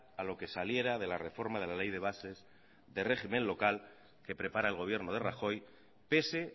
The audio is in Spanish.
a lo que saliera de la reforma de la ley de bases de régimen local que prepara el gobierno de rajoy pese